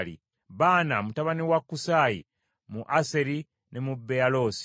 Baana mutabani wa Kusaayi, mu Aseri ne mu Beyaloosi;